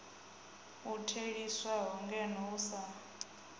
u theliswaho ngeno u sa